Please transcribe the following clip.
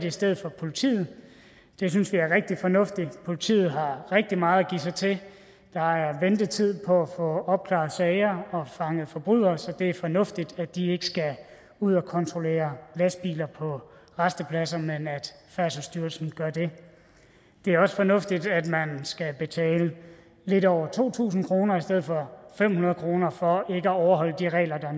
i stedet for politiet det synes vi er rigtig fornuftigt politiet har rigtig meget at give sig til der er ventetid på at opklare sager og fange forbrydere så det er fornuftigt at de ikke skal ud og kontrollere lastbiler på rastepladser men at færdselsstyrelsen gør det det er også fornuftigt at man skal betale lidt over to tusind kroner i stedet for fem hundrede kroner for ikke at overholde de regler der